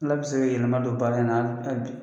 Ala bɛ se ka yɛlɛma don baara in na hali bi.